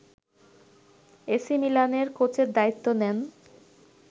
এসিমিলানের কোচের দায়িত্ব নেন